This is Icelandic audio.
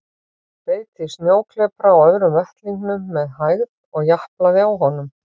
Beit í snjóklepra á öðrum vettlingnum með hægð og japlaði á honum.